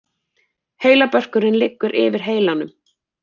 Heilabörkurinn liggur yfir heilanum.